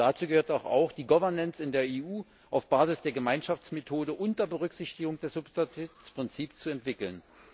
Dazu gehört doch auch, die Governance in der EU auf Basis der Gemeinschaftsmethode unter Berücksichtigung des Subsidiaritätsprinzips zu entwickeln.